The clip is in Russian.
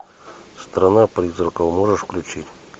страна призраков можешь включить